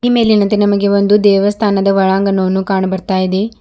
ಈ ಮೇಲಿನಂತೆ ನಮಗೆ ದೇವಸ್ಥಾನದ ಒಳಾಂಗಣವನ್ನು ಕಾಣ ಬರ್ತಾ ಇದೆ.